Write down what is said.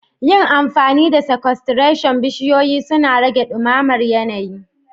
Yin amfani da sequestration, bishiyoyi suna rage dumamar yanayi